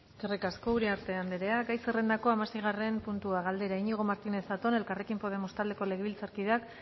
eskerrik asko uriarte anderea gai zerrendako hamaseigarren puntua galdera iñigo martínez zatón elkarrekin podemos taldeko legebiltzarkideak